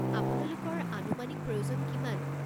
আপোনালোকৰ আনুমানিক প্ৰয়োজন কিমান?